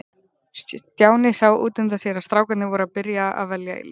Stjáni sá út undan sér að strákarnir voru að byrja að velja í lið.